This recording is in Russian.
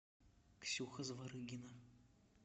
ксюха зворыгина